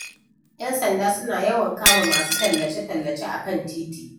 ‘Yan sanda suna yawan kama masu tallace-tallace a kan titi.